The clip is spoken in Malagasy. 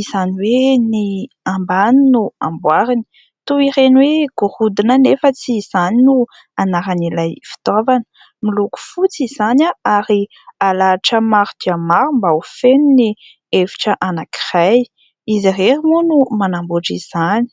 izany hoe ny ambany no amboariny toy ireny hoe gorodona anefa tsy izany no anaran'ilay fitaovana, miloko fotsy izany ary halahatra maro dia maro mba ho feno ny efitra anankiray izy irery moa no manamboatra izany.